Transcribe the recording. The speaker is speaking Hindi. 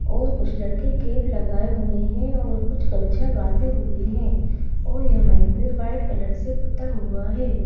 और कुछ लड़के केप लगाए हुए हैं और कुछ गमछा बांधे हुए हैं और यह मंदिर व्हाइट कलर से पुता हुआ है।